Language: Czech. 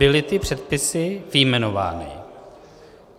Byly ty předpisy vyjmenovány.